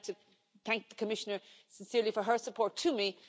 But I'd like to thank the Commissioner sincerely for her support to me.